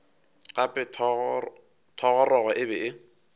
gape thogorogo e be e